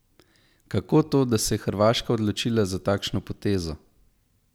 Kako to, da se je Hrvaška odločila za takšno potezo?